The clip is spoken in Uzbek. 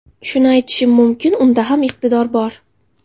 Shuni aytishim mumkin, unda ham iqtidor bor.